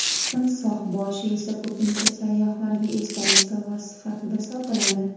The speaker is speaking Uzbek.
Timsoh boshi esa ko‘pincha sayyohlarga esdalik sovg‘asi sifatida sotiladi.